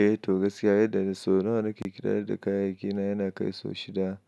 Eh to gaskiya yadda na so. So nawa na ke ƙidayar da kayan aikina yana kai so shida